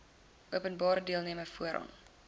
openbare deelname voor